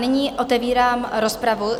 Nyní otevírám rozpravu.